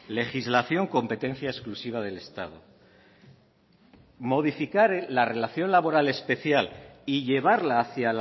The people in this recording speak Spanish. legislación competencia exclusiva del estado modificar la relación laboral especial y llevarla hacia